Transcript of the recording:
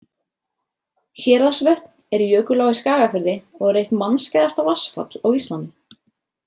Héraðsvötn er jökulá í Skagafirði og er eitt mannskæðasta vatnsfall á Íslandi.